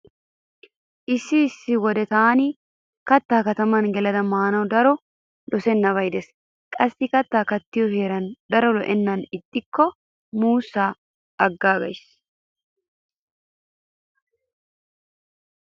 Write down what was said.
Issi issi wode taani kattaa kataman gelada maanawu daro dosissennabay de'es. Qassi kattaa kattiyo heeray daro lo'ennan ixxikko muussaa aggaagays.